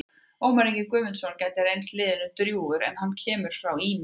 Ómar Ingi Guðmundsson gæti reynst liðinu drjúgur en hann kemur frá Ými.